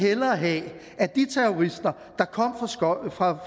hellere have at de terrorister der kom fra